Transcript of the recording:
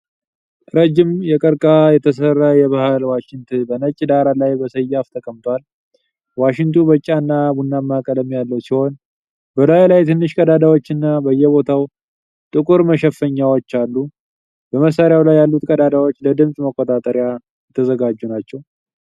ረዥም የቀርከሃ የተሰራ የባሕል ዋሽንት በነጭ ዳራ ላይ በሰያፍ ተቀምጧል። ዋሽንቱ ቢጫና ቡናማ ቀለም ያለው ሲሆን፣ በላዩ ላይ ትንሽ ቀዳዳዎችና በየቦታው ጥቁር መሸፈኛዎች አሉ። በመሳሪያው ላይ ያሉት ቀዳዳዎች ለድምፅ መቆጣጠሪያ የተዘጋጁ ናቸው።